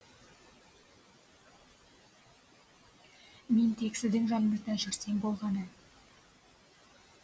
мен тек сіздің жаныңызда жүрсем болғаны